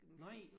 Nej